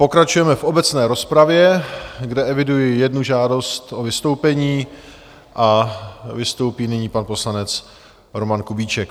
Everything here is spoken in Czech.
Pokračujeme v obecné rozpravě, kde eviduji jednu žádost o vystoupení, a vystoupí nyní pan poslanec Roman Kubíček.